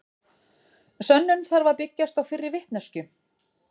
Sönnun þarf að byggjast á fyrri vitneskju.